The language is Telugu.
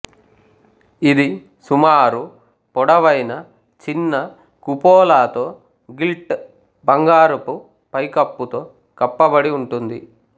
ఇది సుమారు పొడవైన చిన్న కుపోలాతో గిల్ట్ బంగారుపు పైకప్పుతో కప్పబడి ఉంటుంది